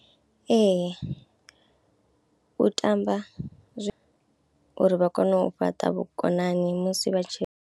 Ee u tamba zwi, uri vha kone u fhaṱa vhukonani musi vha tshi.